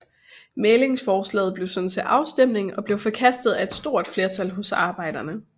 Mæglingsforslaget blev sendt til afstemning og blev forkastet af et stort flertal hos arbejderne